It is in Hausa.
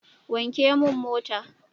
Wanke mun mota!